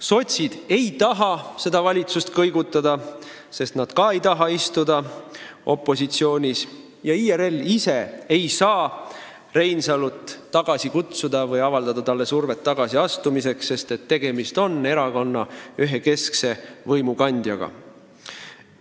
Sotsid ei taha seda valitsust kõigutada, sest nad ka ei taha istuda opositsioonis, ja IRL ise ei saa Reinsalu tagasi kutsuda või avaldada talle survet tagasiastumiseks, sest tegemist on erakonna ühe keskse võimukandjaga.